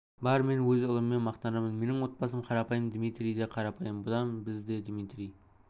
бар мен өз ұлыммен мақтанам менің отбасым қарапайым дмитрий де қарапайым бұдан біз де дмитрий